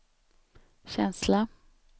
känsla